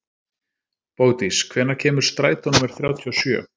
Bogdís, hvenær kemur strætó númer þrjátíu og sjö?